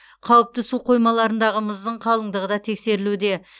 қауіпті су қоймаларындағы мұздың қалыңдығы да тексерілуде